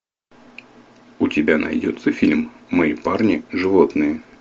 у тебя найдется фильм мои парни животные